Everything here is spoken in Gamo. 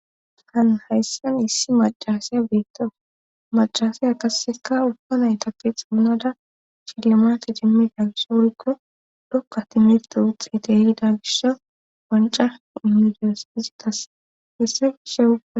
Han hayssan issi macasiya beettau macasiya kasseka ubba naytappe xamunada chilamati jimmida gishsho wurikko dokka timirte uxxete hiida gisha wanca imidiyospizitas hessa gishsheua.